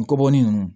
N kɔbɔ nin